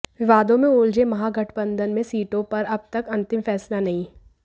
विवादों में उलझे महागठबंधन में सीटों पर अब तक अंतिम फैसला नहीं